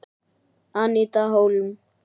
Aníta Hólm.